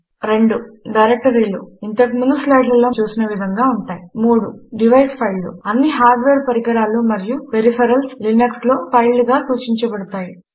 2 డైరెక్టరీలు ఇంతకు ముందు స్లైడ్లలో మనము చూసిన విధంగా ఉంటాయి 3 డివైస్ ఫైళ్ళు అన్ని హార్డ్వేర్ పరికరాలు మరియు పెరిఫెరల్స్ Linuxలో ఫైళ్ళుగా సూచించబడతాయి